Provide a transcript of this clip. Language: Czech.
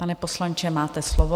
Pane poslanče, máte slovo.